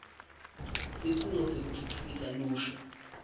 sikhungo sekutfutfukisa lusha